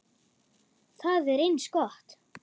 Það er eins gott.